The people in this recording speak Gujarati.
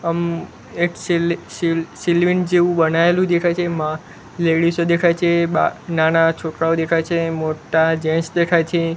અમ એક સીલ સીલ સિલ્વિન જેવુ બનાવેલુ દેખાય છે મા લેડીઝો દેખાય છે બા નાના છોકરાઓ દેખાય છે મોટ્ટા જેન્ટ્સ દેખાય છે.